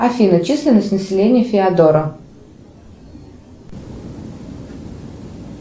афина численность населения феодора